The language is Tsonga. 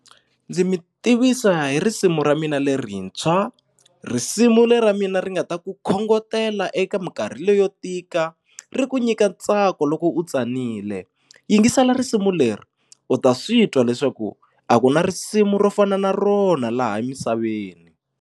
Ndzi mi tivisa hi risimu ra mina lerintshwa risimu leri ra mina ri nga ta ku khongotela eka minkarhi leyo yo tika ri ku nyika ntsako loko u tsanile yingisela risimu leri u ta swi twa leswaku a ku na risimu ro fana na rona laha emisaveni.